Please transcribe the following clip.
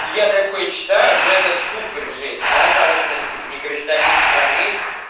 я такой читаю но это супер жесть мало того что они типа не гражданин страны